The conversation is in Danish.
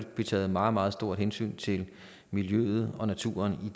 blive taget et meget meget stort hensyn til miljøet og naturen i